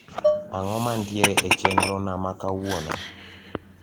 ang`o mantiere e chenro na makawuona